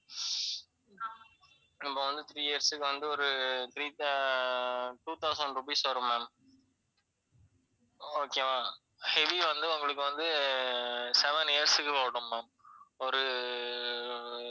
நம்ம வந்து three years க்கு வந்து ஒரு three thou~ two thousand rupees வரும் ma'am. okay வா? heavy வந்து உங்களுக்கு வந்து seven years க்கு ஓடும் ma'am. ஒரு,